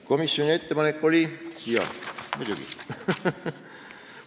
Komisjoni ettepanek, jah, muidugi!